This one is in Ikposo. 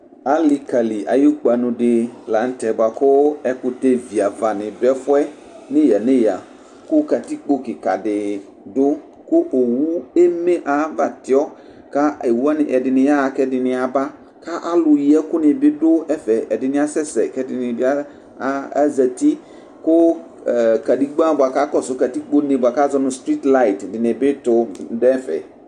Alikali ayu kpanʋ di lanʋtɛ kʋ ɛkʋtɛ viava dʋ ɛfʋ yɛ nʋ eya nʋ eya kʋ katikpo kikadi dʋ kʋ owʋ eme aliyɛ kʋ aba tiɔ kʋ owʋ wani ɛdini yaxa kʋ ɛdini yaba alʋyi ɛkʋni bi dʋ ɛfɛ ɛdini asɛsɛ kʋ ɛdinibi azati kʋ kedegba bʋakʋ akɔsʋ katikpone bʋakʋ azonʋ strit layit dini bi tu nʋ ɛfɛ